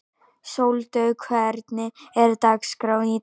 Sóldögg, hvernig er dagskráin í dag?